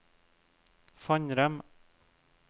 Fannrem